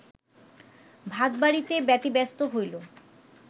ভাত বাড়িতে ব্যতিব্যস্ত হইল